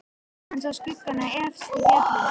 Hann sá skuggana efst í fjallinu.